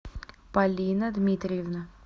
полина дмитриевна